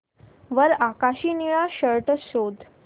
वर आकाशी निळा शर्ट शोध